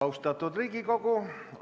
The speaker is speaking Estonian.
Austatud Riigikogu!